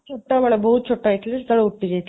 ଛୋଟ ବେଳେ, ବହୁତ ଛୋଟ ହେଇଥିଲି, ସେତେବେଳେ ଉଟ୍ଟି ଯାଇଥିଲି